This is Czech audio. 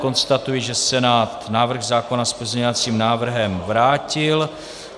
Konstatuji, že Senát návrh zákona s pozměňovacím návrhem vrátil.